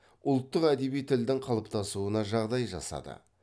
ұлттық әдеби тілдің қалыптасуына жағдай жасады